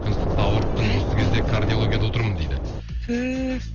күн ыстықта ауырып тұрмын осы кезде кардиологияда отырмын дейді түһ